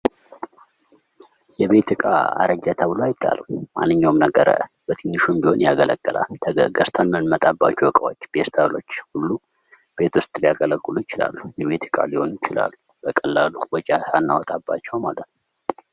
የቤት ዕቃ አረጀ ተብሎ አይጣልም። ማንኛውም ነገር በትንሹም ቢሆን ያገለግላል። ገዝተን የምንመጣባቸው ዕቃዎች ፌስታሎችም ሁሉ ቤት ውስጥ ሊያገለግሉ ይችላሉ። የቤት ዕቃ ሊሆኑ ይችላሉ። በቀላሉ ወጪ ሳናወጣባቸው ማለት ነው።